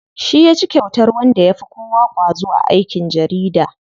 Shi yaci kyautar wanda yafi kowa ƙwazo a aikin jarida.